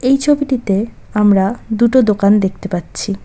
এই ছবিটিতে আমরা দুটো দোকান দেখতে পাচ্ছি।